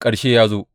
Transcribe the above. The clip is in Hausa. Ƙarshe ya zo!